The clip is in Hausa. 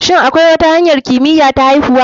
Shin akwi wata hanyar kimiya ta aihuwa?